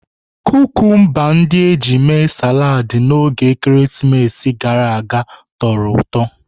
Kukumba ndị e ji mee saladi na oge ekeresimesi gara aga tọrọ ụtọ.